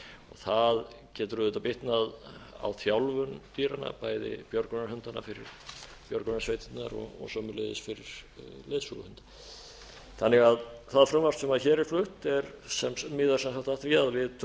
það getur auðvitað bitnað á þjálfun dýranna bæði björgunarhundanna fyrir björgunarsveitirnar og sömuleiðis fyrir leiðsöguhunda þannig að það frumvarp sem hér er flutt miðar sem sagt að því að vi